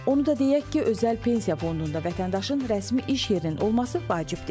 Onu da deyək ki, özəl pensiya fondunda vətəndaşın rəsmi iş yerinin olması vacib deyil.